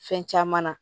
Fɛn caman na